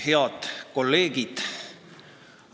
Head kolleegid!